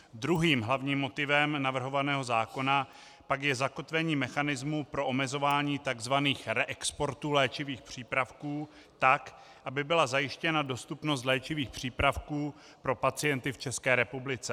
Druhým hlavním motivem navrhovaného zákona pak je zakotvení mechanismu pro omezování tzv. reexportů léčivých přípravků tak, aby byla zajištěna dostupnost léčivých přípravků pro pacienty v České republice.